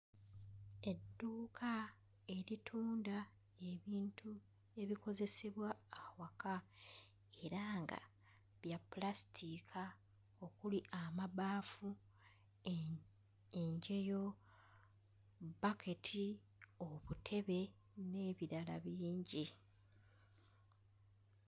Edduuka eritunda ebintu ebikozesebwa awaka era nga bya ppulasitiika okuli amabaafu, e enjeyo, bbaketi, obutebe n'ebirala bingi.